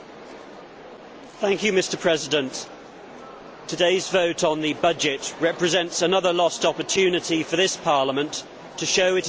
Mr President, today's vote on the budget represents another lost opportunity for this Parliament to show it is in tune with the electorate.